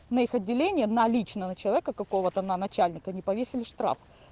на их отделение на личного человека какого-то на начальника не повесили штраф